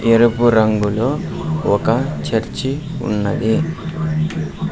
ఎరుపు రంగులో ఒక చర్చి ఉన్నది.